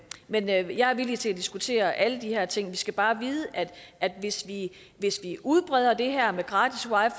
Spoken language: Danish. men jeg er jeg er villig til at diskutere alle de her ting vi skal bare vide at hvis vi hvis vi udbreder det her med gratis wi